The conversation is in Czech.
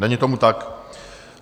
Není tomu tak.